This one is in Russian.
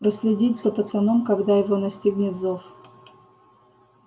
проследить за пацаном когда его настигнет зов